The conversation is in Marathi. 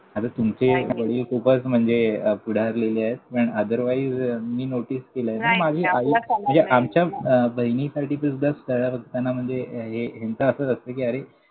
आता तुमचे वडील खूपच म्हणजे पुढारलेले आहेत. पण otherwise मी notice केलंय. पण माझी आई म्हणजे आमच्या बहिणीसाठी सुद्धा स्थळं बघताना म्हणजे हे, ह्यांचं असंच असतं कि अरे.